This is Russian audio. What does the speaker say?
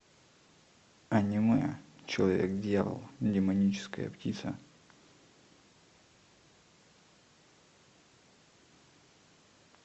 аниме человек дьявол демоническая птица